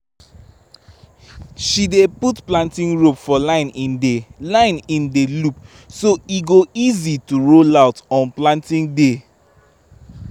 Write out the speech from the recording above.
she dey put planting rope for line in the line in the loop so e go easy to roll out on planting day